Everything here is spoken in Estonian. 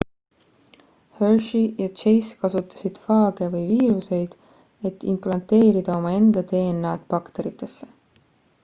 hershey ja chase kasutasid faage või viiruseid et implanteerida omaenda dna-d bakteritesse